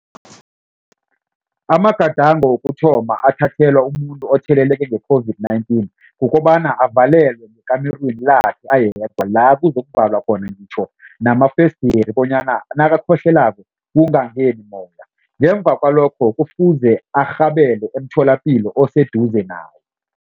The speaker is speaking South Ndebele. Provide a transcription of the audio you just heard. Amagadango wokuthoma athathelwa umuntu otheleleke nge-COVID-19 kukobana avalelwe ngekamerweni lakhe ayedwa la kuzokuvala khona ngitjho namafesidiri bonyana nakakhohlelako kungangeni ummoya. Ngemva kwalokho kufuze arhabele emtholapilo oseduze naye.